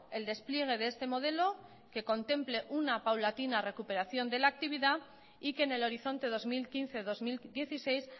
el despliegue de este modelo que contemple una paulatina recuperación de la actividad y que en el horizonte dos mil quince dos mil dieciséis